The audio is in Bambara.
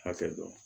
Hakɛ dɔn